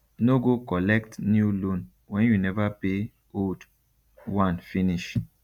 no go collect new loan when you never pay old one finish